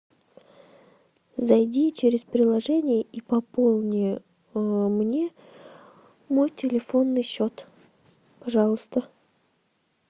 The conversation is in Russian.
зайди через приложение и пополни мне мой телефонный счет пожалуйста